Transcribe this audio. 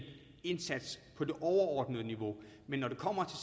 indsats på det overordnede niveau men når det kommer